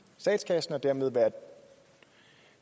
statskassen og dermed være